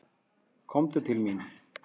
Komdu til mín.